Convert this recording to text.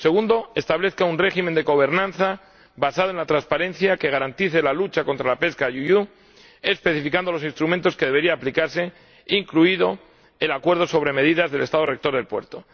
En segundo lugar, que establezca un régimen de gobernanza basado en la transparencia, que garantice la lucha contra la pesca IUU, especificando los instrumentos que deberían aplicarse, incluido el Acuerdo sobre medidas del Estado rector del puerto.